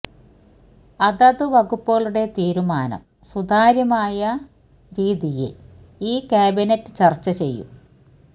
അതത് വകുപ്പുകളുടെ തീരുമാനം സുത്യാരമായ രീതിയില് ഈ ക്യാബിനറ്റ് ചര്ച്ച ചെയും